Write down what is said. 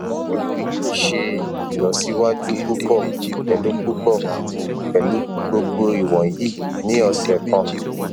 iwọ yoo ṣe ilọsiwaju pupọ pẹlu pupọ pẹlu gbogbo iwọnyi ni ọsẹ kan